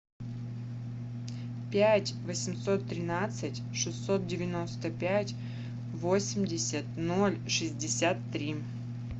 пять восемьсот тринадцать шестьсот девяносто пять восемьдесят ноль шестьдесят три